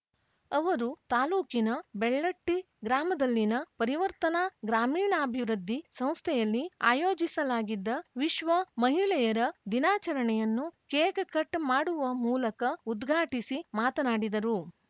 ಅವರು ತಾಲೂಕಿನ ಬೆಳ್ಳಟ್ಟಿ ಗ್ರಾಮದಲ್ಲಿನ ಪರಿವರ್ತನಾ ಗ್ರಾಮೀಣಾಭಿವೃದ್ದಿ ಸಂಸ್ಥೆಯಲ್ಲಿ ಆಯೋಜಿಸಲಾಗಿದ್ದ ವಿಶ್ವ ಮಹಿಳೆಯರ ದಿನಾಚರಣೆಯನ್ನು ಕೇಕ್ ಕಟ್ ಮಾಡುವ ಮೂಲಕ ಉದ್ಘಾಟಿಸಿ ಮಾತನಾಡಿದರು